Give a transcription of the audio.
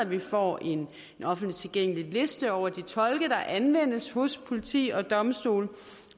vi får en offentligt tilgængelig liste over de tolke der anvendes hos politi og domstole